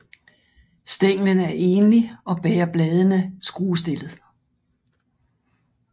Stænglen er enlig og bærer bladene skruestillet